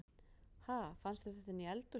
Ha! Fannstu þetta inni í eldhúsi?